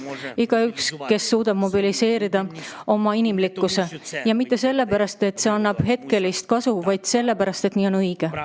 Tähtis on igaüks, kes suudab mobiliseerida oma inimlikkuse, ja mitte sellepärast, et see annab hetkelist kasu, vaid sellepärast, et nii on õige.